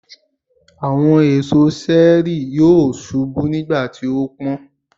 Àwọn èso ṣẹẹri yóò ṣubú nígbàtí ó pọ́n.